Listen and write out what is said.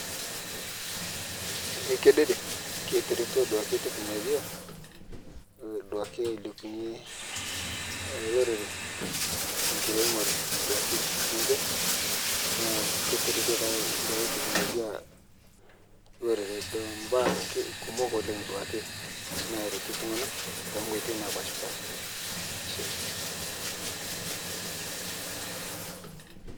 Eh kedede ketereto duake teknolojia ih duake aleipunye lorere tenkiremore duake enche naa ketereto taa baa e teknolojia lorere te baa ki kumok oleng' duake naretu ltung'ana tonkoitoi naapashpasha, ashe.